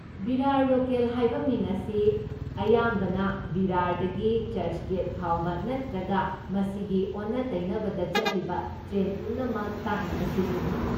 ꯚꯤꯔꯥꯔ local ꯍꯥꯏꯕ ꯃꯤꯡ ꯑꯁꯤ ꯑꯌꯥꯝꯕꯅ ꯚꯤꯔꯥꯔꯗꯒꯤ ꯆꯔꯆꯒꯦꯠ ꯐꯥꯎꯕ ꯅꯠꯇ꯭ꯔꯒ ꯃꯁꯤꯒꯤ ꯑꯣꯟꯅ ꯇꯩꯅꯕꯗ ꯆꯠꯂꯤꯕ ꯇ꯭ꯔꯦꯟ ꯄꯨꯝꯅꯃꯛ ꯇꯥꯛꯅꯕ ꯁꯤꯖꯤꯟꯅꯩ꯫